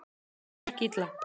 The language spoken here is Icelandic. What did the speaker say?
Það gekk illa.